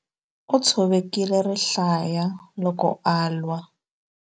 U tshovekile rihlaya loko a lwa.